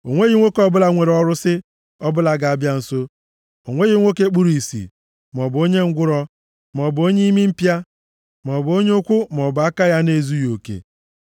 O nweghị nwoke ọbụla nwere ọrụsị ọbụla ga-abịa nso, o nweghị nwoke kpuru ìsì, maọbụ onye ngwụrọ, maọbụ onye imi mpịa, maọbụ onye ụkwụ maọbụ aka ya na-ezughị oke, + 21:18 Ihe ndị a gụnyere ma mmadụ ma anụmanụ, dịka e depụtara ha site nʼamaokwu iri na isii gbadaa.